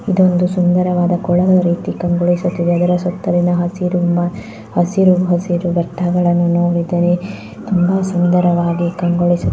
ಇದೊಂದು ಸುಂದರವಾದ ಕೊಳದ ರೀತಿ ಕಂಗೊಳಿಸುತ್ತಿದೆ. ಅದರ ಸುತ್ತಲಿನ ಹಸಿರು ಮ ಹಸಿರು ಹಸಿರು ಬೆಟ್ಟವನ್ನು ನೋಡಿದರೆ ಸುಂದರವಾಗಿ ಕಂಗೊಳಿಸು--